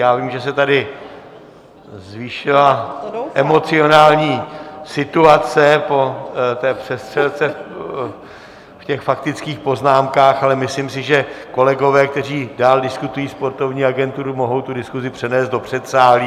Já vím, že se tady zvýšila emocionální situace po té přestřelce v těch faktických poznámkách, ale myslím si, že kolegové, kteří dál diskutují sportovní agenturu, mohou tu diskusi přenést do předsálí.